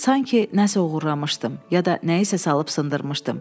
Sanki nə isə oğurlamışdım, ya da nəyisə salıb sındırmışdım.